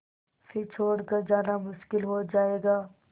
फिर छोड़ कर जाना मुश्किल हो जाएगा